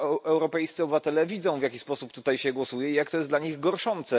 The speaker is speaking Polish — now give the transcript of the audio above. Europejscy obywatele widzą, w jaki sposób tutaj się głosuje, i jest to dla nich gorszące.